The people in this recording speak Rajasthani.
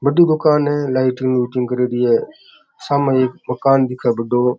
बड़ी दुकान है लाइटिंग व्हिटिंग करियोडी है सामे एक मकान दिखे बढ़ो।